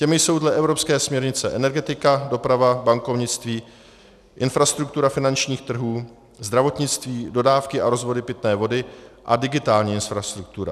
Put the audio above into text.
Těmi jsou dle evropské směrnice energetika, doprava, bankovnictví, infrastruktura finančních trhů, zdravotnictví, dodávky a rozvody pitné vody a digitální infrastruktura.